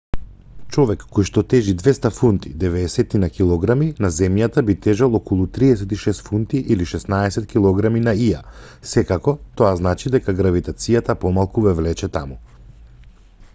човек којшто тежи 200 фунти 90 килограми на земјата би тежел околу 36 фунти 16 килограми на ија. секако тоа значи дека гравитацијата помалку ве влече таму